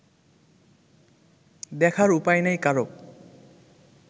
দেখার উপায় নেই কারও